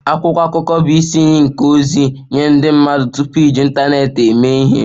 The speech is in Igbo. Akwụkwọ akụkọ bụ isi iyi nke ozi nye ndị mmadụ tupu iji ịntanetị eme ihe